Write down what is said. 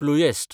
प्लुयॅस्ट (पूंच ज&क)